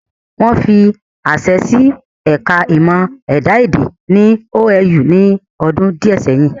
Wọ́n fi àṣẹ sí ẹ̀ka ìmọ̀ ẹ̀dá-èdè ní OAU ní ọdún díẹ̀ ẹyìn